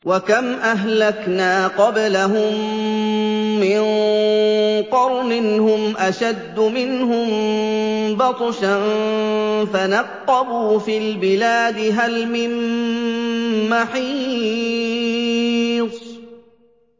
وَكَمْ أَهْلَكْنَا قَبْلَهُم مِّن قَرْنٍ هُمْ أَشَدُّ مِنْهُم بَطْشًا فَنَقَّبُوا فِي الْبِلَادِ هَلْ مِن مَّحِيصٍ